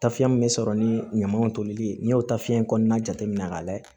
Tafiyɛn min bɛ sɔrɔ ni ɲamaw tolili ye n'i y'o tafiɲɛ kɔnɔna jateminɛ k'a lajɛ